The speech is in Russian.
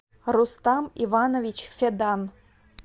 рустам иванович федан